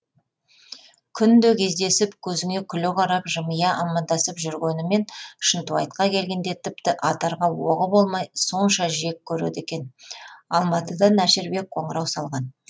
күнде кездесіп көзіңе күле қарап жымия амандасып жүргенімен шынтуайтқа келгенде тіпті атарға оғы болмай сонша жек көреді екен алматыдан әшірбек қоңырау шалған